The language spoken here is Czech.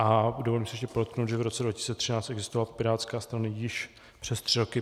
A dovolím si ještě podotknout, že v roce 2013 existovala Pirátská strana již přes tři roky.